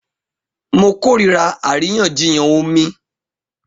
Mo kórìíra àríyànjiyàn omi